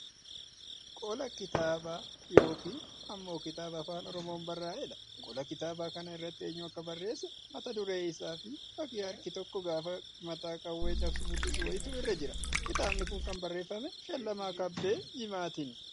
Qola kitaabaa yookiin ammoo kitaaba Afaan Oromoon barraa'edha. Qola kitaaba kanaa irratti eenyu akka barreesse, mata duree isaa fi fakkii harki tokko gaafa mataa qawwee cabsu mul'isu wayiitu irra jira. Kitaabi kun kan barreeffame Shallamaa Kabbee Jimaatini.